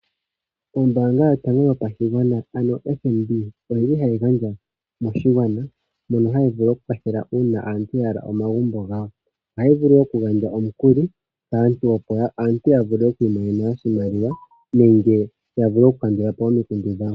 Ombanga yotango yopashigwana ano FNB oyili hayi gandja moshigwana ndyono yili hayi vulu okukwathela uuna aantu yahala omagumbo gawo. Ohayi vulu okugandja omukuli kaantu opo aantu yavule oku imonena oshimaliwa nenge yavule okukandulapo omikundu dhawo.